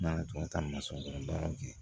Nana tun bɛ taa kɔnɔ baaraw kɛ